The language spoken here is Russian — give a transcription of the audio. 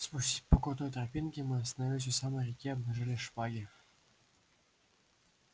спустясь по крутой тропинке мы остановились у самой реки и обнажили шпаги